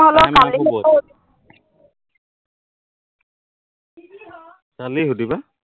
কালি সুধিবা?